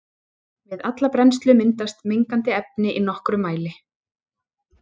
Við alla brennslu myndast mengandi efni í nokkrum mæli.